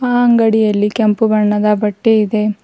ಆ ಅಂಗಡಿಯಲ್ಲಿ ಕೆಂಪು ಬಣ್ಣದ ಬಟ್ಟೆ ಇದೆ.